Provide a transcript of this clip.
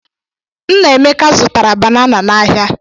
Nnaemeka zụtara banana n'ahịa.